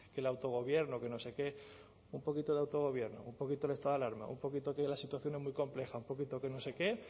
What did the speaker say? que el autogobierno que no sé qué un poquito de autogobierno un poquito el estado de alarma un poquito que la situación es muy compleja un poquito que no sé qué